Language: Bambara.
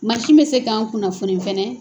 Masin bɛ se k'an kunnafoni fɛnɛ.